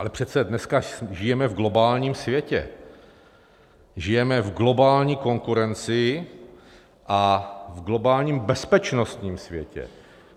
Ale přece dneska žijeme v globálním světě, žijeme v globální konkurenci a v globálním bezpečnostním světě.